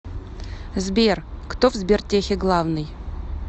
сбер кто в сбертехе главный